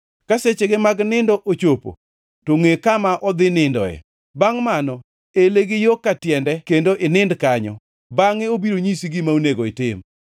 Ka sechege mag nindo ochopo to ngʼe kama odhi nindoe. Bangʼ mano, ele gi yo ka tiende kendo inind kanyo. Bangʼe obiro nyisi gima onego itim.”